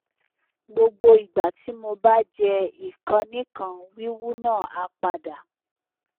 gbogbo igba ti mo ba je ikanikan wiwu na a pada